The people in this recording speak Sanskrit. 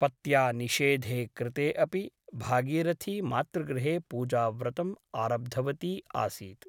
पत्या निषेधे कृते अपि भागीरथी मातृगृहे पूजाव्रतम् आरब्धवती आसीत् ।